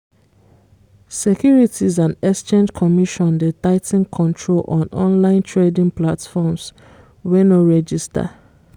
securities and exchange commission dey tigh ten control on online trading platforms wey no register